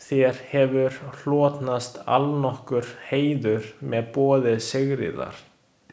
Þér hefur hlotnast allnokkur heiður með boði Sigríðar.